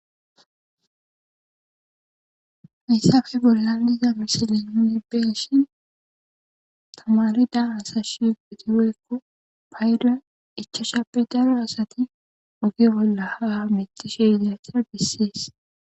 Hayssafe bolla liza birsillen inibbesshin tamarida asa shiutiweekko payida ichashape daro asati ogi bolla ha mitishe yiaacha dessees.